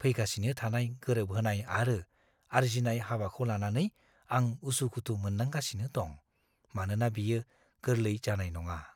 फैगासिनो थानाय गोरोबहोनाय आरो आर्जिनाय हाबाखौ लानानै आं उसु-खुथु मोनदांगासिनो दं, मानोना बेयो गोरलै जानाय नङा।